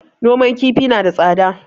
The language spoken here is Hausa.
Noman kifi na da tsada